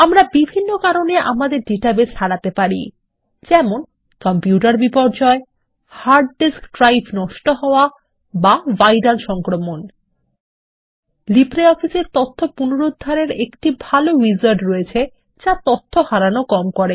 আমরা বিভিন্ন কারণে আমাদের ডাটাবেস হারাতে পারি LibreOffice এ তথ্য পুনরুদ্ধারের একটি ভাল উইজার্ড রয়েছে যা তথ্য হারানো কম করে